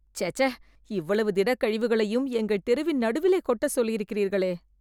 சேச்சே.. இவ்வளவு திடக்கழிவுகளையும் எங்கள் தெருவின் நடுவிலே கொட்டச் சொல்லியிருக்கிறீர்களே